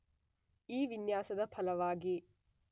ಈ ವಿನ್ಯಾಸದ ಫಲವಾಗಿ